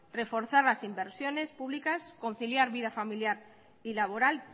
reforzar las inversiones públicas conciliar vida familiar y laboral